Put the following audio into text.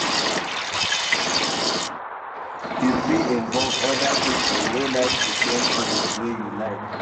You fit involve oda pipo wey like di same hobbies wey you like